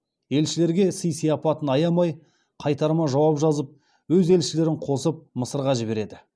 елшілерге сый сияпатын аямай қайтарма жауап жазып өз елшілерін қосып мысырға жібереді